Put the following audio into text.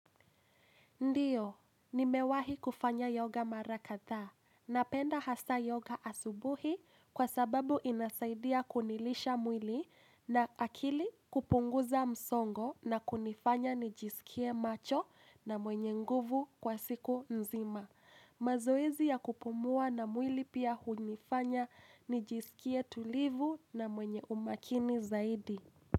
Ndio, nimewahi kufanya yoga mara kadhaa. Napenda hasa yoga asubuhi kwa sababu inasaidia kunilisha mwili na akili kupunguza msongo na kunifanya nijisikie macho na mwenye nguvu kwa siku nzima. Mazoezi ya kupumua na mwili pia hunifanya nijisikie tulivu na mwenye umakini zaidi.